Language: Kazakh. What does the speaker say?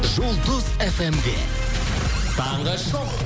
жұлдыз фм де таңғы шоу